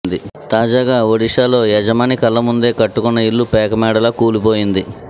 తాజాగా ఒడిశాలో యజమాని కళ్ల ముందే కట్టుకున్న ఇల్లు పేక మేడలా కూలిపోయింది